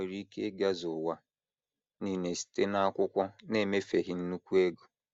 Ha nwere ike ịgazu ụwa nile site n’akwụkwọ n’emefeghị nnukwu ego.